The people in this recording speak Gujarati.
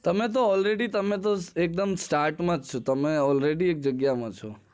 તમે તો already starte માં છો